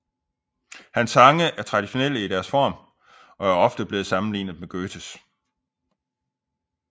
Hans sange er traditionelle i deres form og er ofte blevet sammenlignet med Goethes